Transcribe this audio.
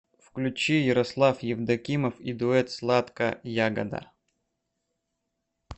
включи ярослав евдокимов и дуэт сладка ягода